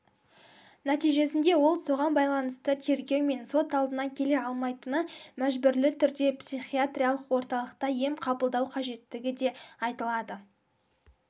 нәтижесінде ол соған байланысты тергеу мен сот алдына келе алмайтыны мәжбүрлі түрде психиатриялық орталықта ем қабылдау қажеттігі де айтылады